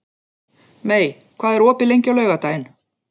Mey, hvað er opið lengi á laugardaginn?